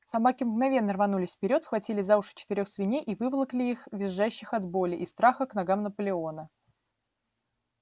собаки мгновенно рванулись вперёд схватили за уши четырёх свиней и выволокли их визжащих от боли и страха к ногам наполеона